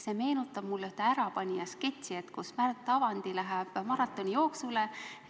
See meenutab mulle ühte "Ärapanija" sketši, kus Märt Avandi läheb maratonijooksule.